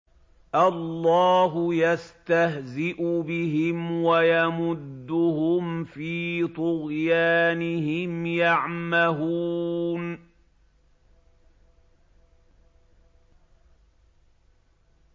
اللَّهُ يَسْتَهْزِئُ بِهِمْ وَيَمُدُّهُمْ فِي طُغْيَانِهِمْ يَعْمَهُونَ